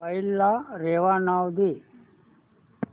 file ला रेवा नाव दे